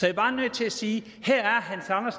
er bare nødt til at sige